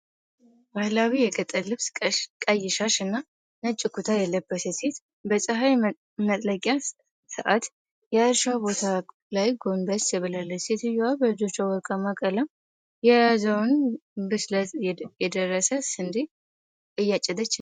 ባህላዊ የገጠር ልብስ፣ ቀይ ሻሽ እና ነጭ ኩታ የለበሰች ሴት በፀሐይ መጥለቂያ ሰዓት የእርሻ ቦታ ላይ ጎንበስ ብላለች። ሴትየዋ በእጆቿ ወርቃማ ቀለም የያዘውን ብስለት የደረሰ ስንዴ እያጨደች ነው።